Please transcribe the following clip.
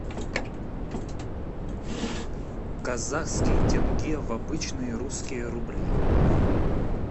казахский тенге в обычные русские рубли